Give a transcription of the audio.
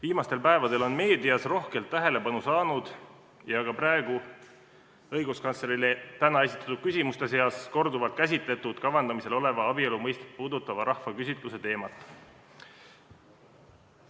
Viimastel päevadel on meedias rohkelt tähelepanu saanud ja ka õiguskantslerile täna esitatud küsimuste seas käsitleti korduvalt kavandamisel oleva abielu mõistet puudutava rahvaküsitluse teemat.